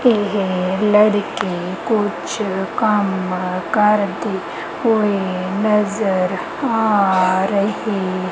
ਇਕ ਲੜਕੀ ਕੁਝ ਕੰਮ ਕਰਦੇ ਹੋਏ ਨਜ਼ਰ ਆ ਰਹੀ ਹੈ।